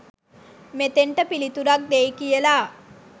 මෙතෙන්ට පිළිතුරක් දෙයි කියලා